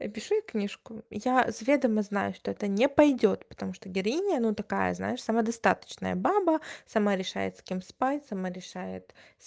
опиши книжку я заведомо знаю что это не пойдёт потому что героиня ну такая знаешь самодостаточная баба сама решает с кем спать сама решает с